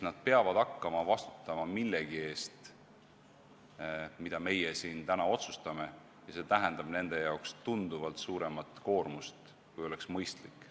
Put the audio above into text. Nad peavad hakkama vastutama millegi eest, mida meie siin täna otsustame, ja see tähendab nende jaoks tunduvalt suuremat koormust, kui oleks mõistlik.